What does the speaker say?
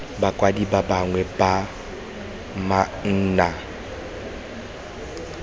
bakwadi ba bangwe ba manaane